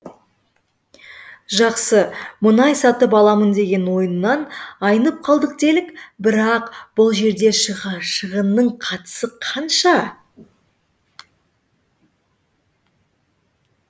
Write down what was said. жақсы мұнай сатып аламын деген ойынан айнып қалды делік бірақ бұл жерде шығынның қатысы қанша